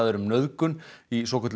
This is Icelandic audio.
um nauðgun í svokölluðu